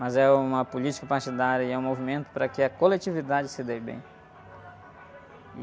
Mas é uma política partidária e é um movimento para que a coletividade se dê bem.